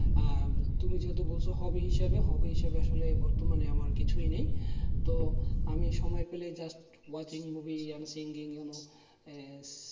আহ তুমি যদি বলছো হবে হিসাবে হবে হিসাবে আসলে বর্তমানে আমার কিছুই নেই তো আমি সময় পেলে just watching movie and singing you know um